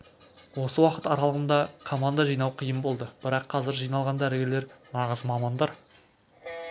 осы уақыт аралығында команда жинау қиын болды бірақ қазір жиналған дәрігерлер нағыз мамандар